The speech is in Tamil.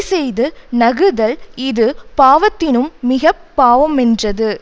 செய்து நகுதல் இது பாவத்தினும் மிக பாவமென்றது